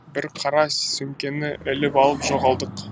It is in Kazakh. біз қара сөмкені іліп алып жоғалдық